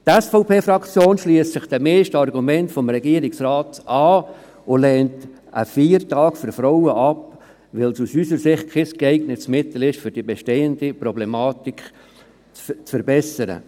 Die SVP-Fraktion schliesst sich den meisten Argumenten des Regierungsrates an und lehnt einen Feiertag für Frauen ab, weil es aus unserer Sicht kein geeignetes Mittel ist, um die bestehende Problematik zu verbessern.